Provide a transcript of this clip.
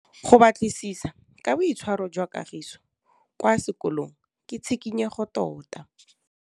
Go batlisisa ka boitshwaro jwa Kagiso kwa sekolong ke tshikinyêgô tota.